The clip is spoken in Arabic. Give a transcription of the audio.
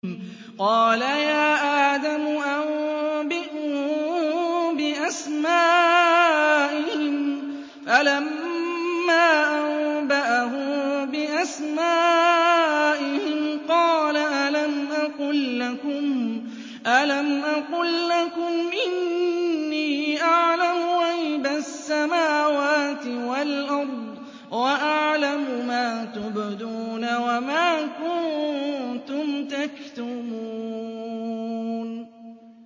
قَالَ يَا آدَمُ أَنبِئْهُم بِأَسْمَائِهِمْ ۖ فَلَمَّا أَنبَأَهُم بِأَسْمَائِهِمْ قَالَ أَلَمْ أَقُل لَّكُمْ إِنِّي أَعْلَمُ غَيْبَ السَّمَاوَاتِ وَالْأَرْضِ وَأَعْلَمُ مَا تُبْدُونَ وَمَا كُنتُمْ تَكْتُمُونَ